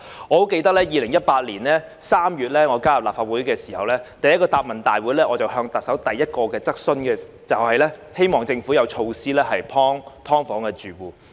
我記得在2018年3月加入立法會後第一個行政長官答問會，我向特首提出的第一項質詢，就是希望政府有措施幫助"劏房"的住戶。